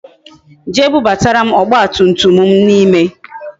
Jee bubatara m ọgba tum tum m n'ime